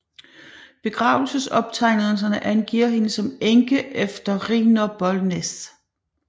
Begravelsesoptegnelserne angiver hende som enke efter Rijnier Bolnes